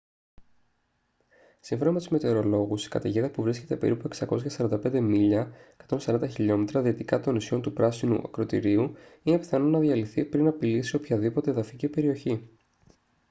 σύμφωνα με τους μετεωρολόγους η καταιγίδα που βρίσκεται περίπου 645 μίλια 140 χιλιόμετρα δυτικά των νησιών του πράσινου ακρωτηρίου είναι πιθανό να διαλυθεί πριν απειλήσει οποιαδήποτε εδαφική περιοχή